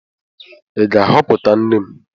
Ị ga-ahọpụta nne m?